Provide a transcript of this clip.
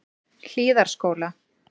Hlíðarskóla